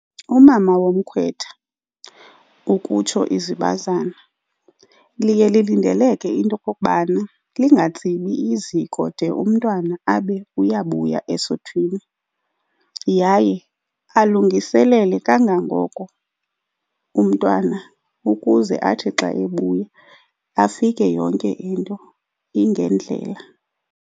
Umama womkhwetha, ukutsho izibazana liye lilindeleke into okokubana lingatsibi iziko de umntwana abe uyabuya esuthwini. Yaye alungiselele kangangoko umntwana ukuze athi xa ebuya afike yonke into ingendlela.